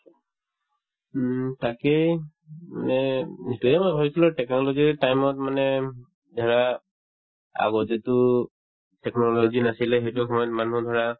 উম, তাকেই মানে উম সেইটোৱেই মই ভাবিছিলো technology ৰ time ত মানে ধৰা আগতেতো technology নাছিলে সেইটো সময়ত মানুহে ধৰা